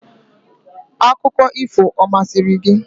Akụkọ ifo ọ masịrị gị?